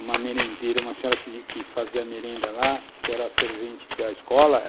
uma merendeira, senhora que fazia merenda lá, que era a servente da escola.